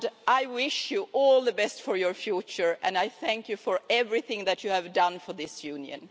I wish you all the best for your future, and I thank you for everything that you have done for this Union.